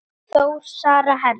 Þór, Sara, Hera.